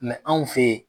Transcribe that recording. anw fe yen